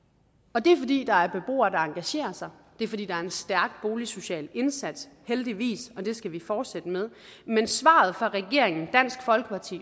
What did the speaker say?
og det er fordi der er beboere der engagerer sig det er fordi der er en stærk boligsocial indsats heldigvis og det skal vi fortsætte med men svaret fra regeringen dansk folkeparti